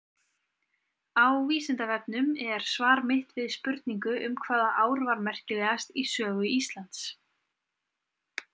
Á Vísindavefnum er svar mitt við spurningu um hvaða ár var merkilegast í sögu Íslands.